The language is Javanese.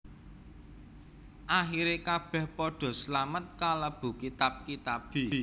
Akhire kabeh padha slamet kalebu kitab kitabe